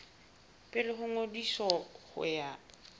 pele ho ngodiso ho ya